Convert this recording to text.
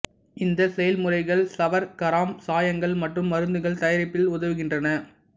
இந்த செயல்முறைகள் சவர்க்காரம் சாயங்கள் மற்றும் மருந்துகள் தயாரிப்பில் உதவுகின்றன